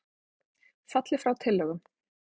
Falli frá tillögum